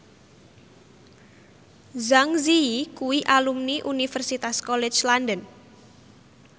Zang Zi Yi kuwi alumni Universitas College London